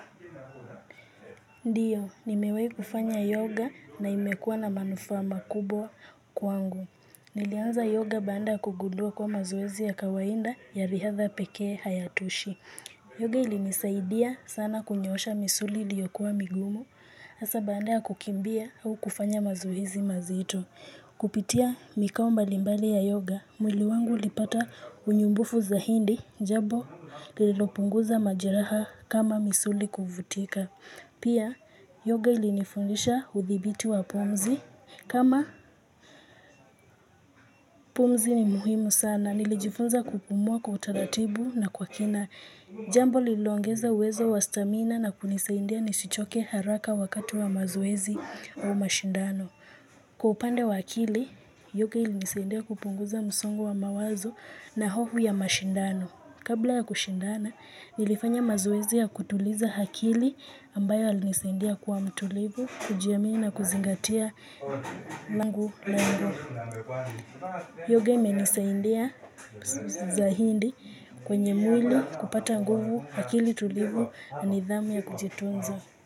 Ndio nimewai kufanya yoga na imekuwa na manufaa makubwa kwangu nilianza yoga baada ya kugundua kuwa mazoezi ya kawaida ya riadha pekee hayatoshi. Yoga ilinisaidia sana kunyoosha misuli iliyokuwa migumu, hasa baada ya kukimbia au kufanya mazoezi mazito. Kupitia mikao mbalimbali ya yoga, mwili wangu ulipata unyumbufu zaidi, japo lililopunguza majiraha kama misuli kuvutika. Pia, yoga ilinifundisha hudhibiti wa pumzi. Kama pumzi ni muhimu sana, nilijifunza kupumua kwa utaratibu na kwa kina. Jambo lililoongeza uwezo wastamina na kunisaidia nisichoke haraka wakati wa mazoezi au mashindano. Kwa upande wa akili, yoga ilinisaidia kupunguza msongo wa mawazo na hofu ya mashindano. Kabla ya kushindana, nilifanya mazoezi ya kutuliza akili ambayo yalinisaidia kuwa mtulivu, kujiamini na kuzingatia nangu na nangu. Yoga imenisaidia zaidi kwenye mwili kupata nguvu akili tulivu na nidhamu ya kujitunza.